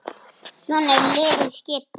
Svona eru liðin skipuð